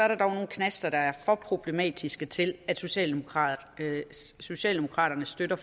der dog nogle knaster der er for problematiske til at socialdemokraterne socialdemokraterne støtter